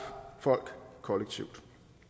folk kollektivt